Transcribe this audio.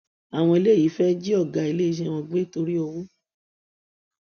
àwọn eléyìí fẹẹ jí ọgá iléeṣẹ wọn gbé torí owó